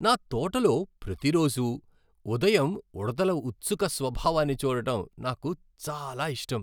నా తోటలో ప్రతి రోజూ ఉదయం ఉడుతల ఉత్సుక స్వభావాన్ని చూడటం నాకు చాలా ఇష్టం.